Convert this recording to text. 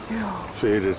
fyrir